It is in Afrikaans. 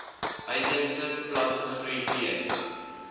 uitheemse plantegroei teen